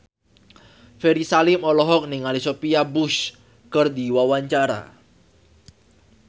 Ferry Salim olohok ningali Sophia Bush keur diwawancara